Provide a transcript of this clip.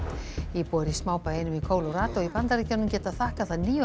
íbúar í smábæ einum í í Bandaríkjunum geta þakkað það níu